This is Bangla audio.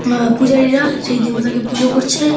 আ পূজারীরা সেই দেবতাকে পূজা করছে।